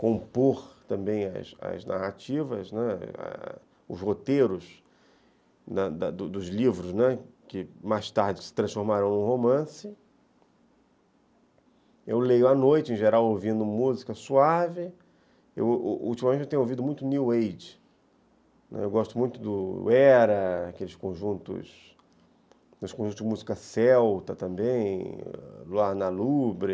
compor também as as narrativas, né, os roteiros da dos dos livros que mais tarde se transformaram num romance eu leio à noite em geral ouvindo música suave ultimamente eu tenho ouvido muito New Age, né, eu gosto muito do Era aqueles conjuntos de música celta também Luar na Lubre